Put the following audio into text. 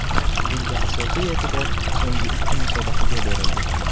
Bunda asosiy e’tibor so‘nggi ikki musobaqaga berildi.